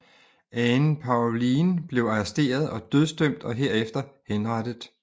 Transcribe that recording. Ane Povline blev arresteret og dødsdømt og herefter henrettet